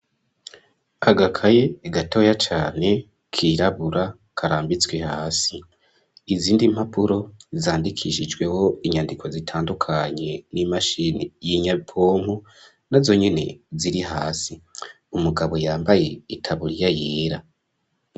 Agakaye, gatoya cane, kirabura, karambitswe hasi, izindi mpapuro, zandikishijweho inyandiko zitandukanye, n'imashini y'inyabwonko, na zo nyene ziri hasi, umugabo yambaye itaburiya yera.